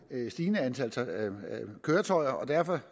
et stigende antal køretøjer og derfor